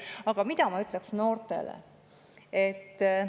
Aga mida ma ütleksin noortele?